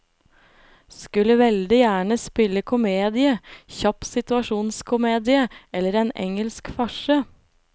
Skulle veldig gjerne spille komedie, kjapp situasjonskomedie eller en engelsk farse.